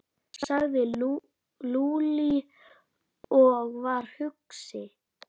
sagði Lúlli og var hugsi.